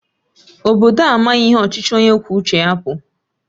Obodo a amaghị ihe ọchịchị onye kwuo uche ya bụ